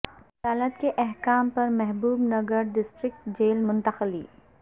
عدالت کے احکام پر محبوب نگر ڈسٹرکٹ جیل منتقلی